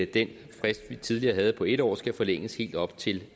den frist vi tidligere havde på en år skal forlænges helt op til